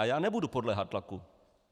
A já nebudu podléhat tlaku.